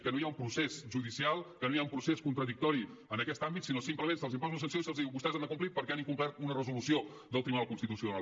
que no hi ha un procés judicial que no hi ha un procés contradictori en aquest àmbit sinó simplement se’ls imposa una sanció i se’ls diu vostès han de complir perquè han incomplert una resolució del tribunal constitucional